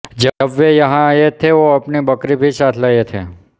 जब वह यहाँ आए थे वो अपनी बकरी भी साथ लाए थे